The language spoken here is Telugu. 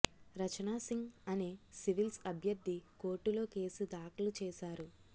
రచనా సింగ్ అనే సివిల్స్ అభ్యర్థి కోర్టులో కేసు దాఖలు చేశారు